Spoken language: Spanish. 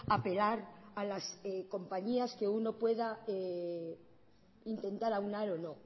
apelar a las compañías que uno pueda intentar aunar o no